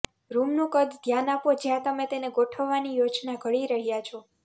રૂમનું કદ ધ્યાન આપો જ્યાં તમે તેને ગોઠવવાની યોજના ઘડી રહ્યા છો